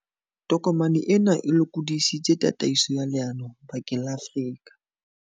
Tokomane ena e lokodisitse tataiso ya leano bakeng la Afrika.